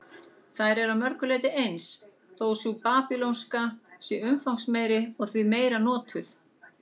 Þær eru að mörgu leyti eins, þó sú babýlonska sé umfangsmeiri og því meira notuð.